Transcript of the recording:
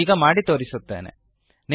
ನಾನು ಈಗ ಮಾಡಿ ತೊರಿಸುತ್ತೇನೆ